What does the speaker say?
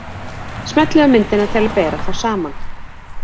Smellið á myndina til að bera þá saman.